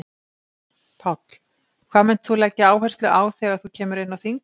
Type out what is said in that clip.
Páll: Hvað munt þú leggja áherslu á þegar þú kemur inn á þing?